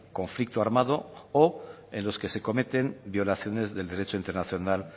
conflicto armado o en los que se cometen violaciones del derecho internacional